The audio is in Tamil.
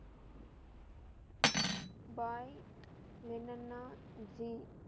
பாய் லென்னன்னா ஜி